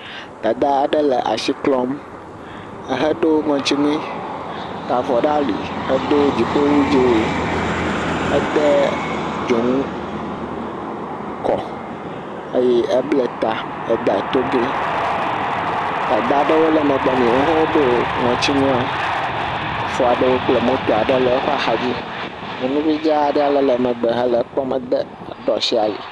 Dada aɖe le asi klɔm, eheɖo ŋɔtinui, ta avɔ ɖe ali ehedo dziƒowu dzee, ede dzonu kɔ, eye ebla ta ede togee, dada aɖewo le megbe nɛ, wo hã woɖo ŋɔtinua, efo aɖewo kple moto aɖe le eƒe axa dzi. Nyɔnuvi dzaa aɖe le megbe hele ekpɔm ɖo asi ali.